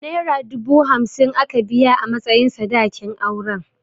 Naira dubu hamsin aka biya a matsayin sadakin auren.